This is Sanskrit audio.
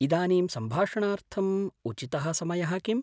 इदानीं सम्भाषणार्थम् उचितः समयः किम्?